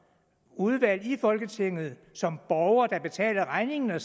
udvalg i folketinget som borgere der betaler regningen har